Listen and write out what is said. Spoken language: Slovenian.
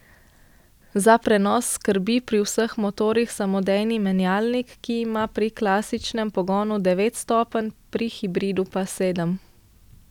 Za prenos skrbi pri vseh motorjih samodejni menjalnik, ki ima pri klasičnem pogonu devet stopenj, pri hibridu pa sedem.